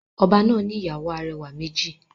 Oba náà ni ìyàwó arẹwà méjì.